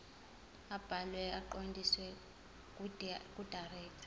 abhalwe aqondiswe kudirector